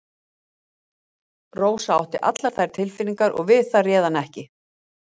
Rósa átti allar þær tilfinningar og við það réð hann ekki.